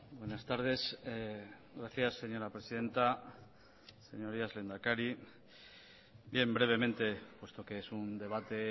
buenas tardes gracias señora presidenta señorías lehendakari bien brevemente puesto que es un debate